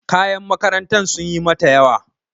Kayan makarantar sunyi mata yawa.